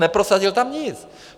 Neprosadil tam nic.